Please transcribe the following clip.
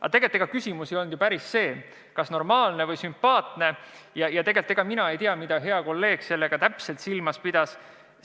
Aga tegelikult ega küsimus ei ole päris selles, kas eelnõu on normaalne või sümpaatne, ja tegelikult mina ei tea, mida hea kolleeg täpselt silmas pidas.